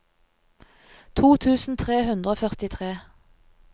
to tusen tre hundre og førtitre